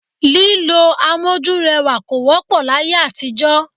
Lílo amójúrẹwà kò wọ́pọ̀ láyé àtijọ́